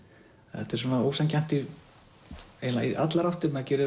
þetta er svona ósanngjarnt í eiginlega allar áttir maður gerir